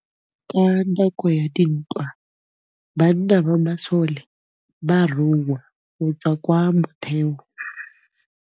Ka nakô ya dintwa banna ba masole ba rongwa go tswa kwa mothêô.